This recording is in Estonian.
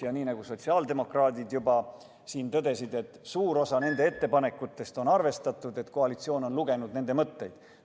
Ja nii nagu sotsiaaldemokraadid juba tõdesid, suurt osa nende ettepanekutest on arvestatud, koalitsioon on lugenud nende mõtteid.